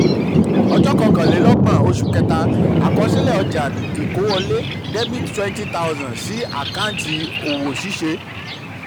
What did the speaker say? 31/03: àkọsílẹ̀ ọjà ìkówọlé dr 20000 sí àkáǹtì òwò ṣíṣe. um